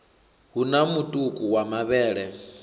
hu na mutuku wa mavhele